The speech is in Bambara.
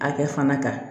Hakɛ fana kan